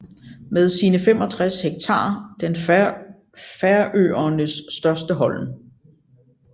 Med sine 65 hektar den Færøernes største holm